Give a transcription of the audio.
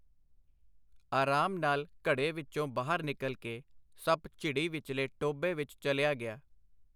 ਆਰਾਮ ਨਾਲ ਘੜੇ ਵਿੱਚੋਂ ਬਾਹਰ ਨਿਕਲ ਕੇ ਸੱਪ ਝਿੜੀ ਵਿਚਲੇ ਟੋਭੇ ਵਿੱਚ ਚਲਿਆ ਗਿਆ.